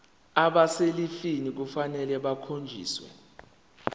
abaselivini kufanele bakhonjiswe